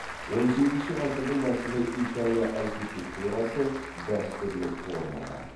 он сегізінші ғасырдың басында италия архитектурасы дәстүрлі формада